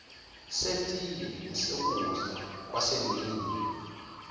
setiye nesokudla kwasemini